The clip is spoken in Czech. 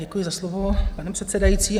Děkuji za slovo, pane předsedající.